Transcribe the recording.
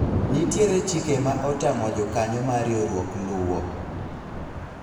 nitiere chike ma otamo jokanyo mar riwruok luwo